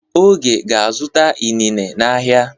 Oge ga-azụta inine n'ahịa.